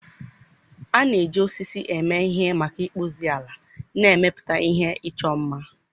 A na-eji osisi eme ihe maka ịkpụzi, ala na ịmepụta ihe ịchọ mma.